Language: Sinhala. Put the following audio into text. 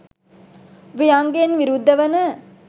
ව්‍යංගයෙන් විරුද්ධ වන